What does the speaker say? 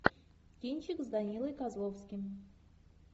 кинчик с данилой козловским